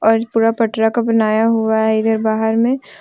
और पूरा पटरा का बनाया हुआ है इधर बाहर में।